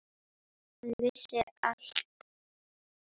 Hann vissi allt.